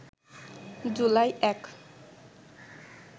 July ০১